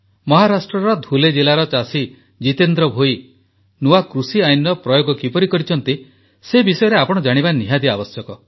ମହାରାଷ୍ଟ୍ରର ଧୁଲେ ଜିଲାର ଚାଷୀ ଜିତେନ୍ଦ୍ର ଭୋଇ ନୂଆ କୃଷି ଆଇନର ପ୍ରୟୋଗ କିପରି କରିଛନ୍ତି ସେ ବିଷୟରେ ଆପଣ ଜାଣିବା ଆବଶ୍ୟକ